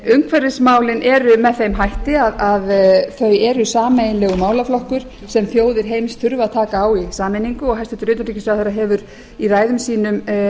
umhverfismálin eru með þeim hætti að þau eru sameiginlegur málaflokkur sem þjóðir heims þurfa að taka á í sameiningu og hæstvirtur utanríkisráðherra hefur í ræðum sínum